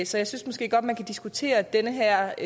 så jeg synes måske godt man kan diskutere den her